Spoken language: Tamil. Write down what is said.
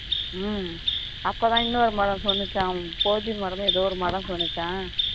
உம் அப்பதான் இன்னொரு மரம் சொல்லுச்சா போதி மரமும் ஏதோ ஒரு மரம் சொல்லுச்சாம்